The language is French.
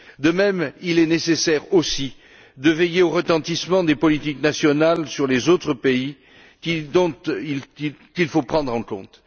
De même, il est nécessaire aussi de veiller au retentissement des politiques nationales sur les autres pays, un élément qu'il faut pourtant prendre en compte.